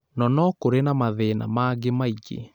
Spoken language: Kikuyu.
Nonokũrĩ na mathĩna mangĩ maingĩ